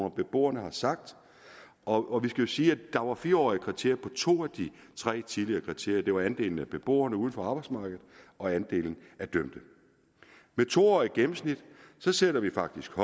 og beboerne har sagt og skal siges at der var fire årige kriterier på to af de tre tidligere kriterier det var andelen af beboere uden for arbejdsmarkedet og andelen af dømte med to årige gennemsnit sætter vi faktisk